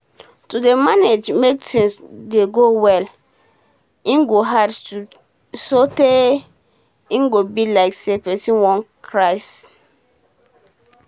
to dey manage make tins dey go well go hard so tey e be like say person wan crase